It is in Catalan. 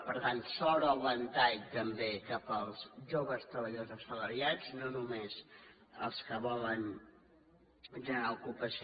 per tant s’obre el ventall també cap als joves treballadors assalariats no només els que volen generar ocupació